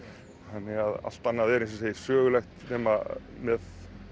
þannig að allt annað er eins og ég segi sögulegt nema með